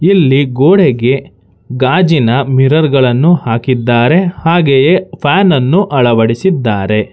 ಇಲ್ಲಿ ಗೋಡೆಗೆ ಗಾಜಿನ ಮಿರರ್ ಗಳನ್ನು ಹಾಕಿದ್ದಾರೆ ಹಾಗೆಯೇ ಫ್ಯಾನನ್ನು ಅಳವಡಿಸಿದ್ದಾರೆ.